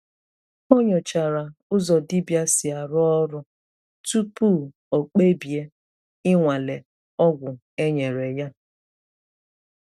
Ọ nyòchàrà ụzọ dibịa si arụ ọrụ tupu o kpebie ịnwale ọgwụ e nyere ya.